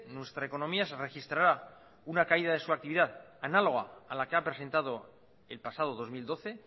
nuestra economía se registrará una caída de su actividad análoga a la que ha presentado el pasado dos mil doce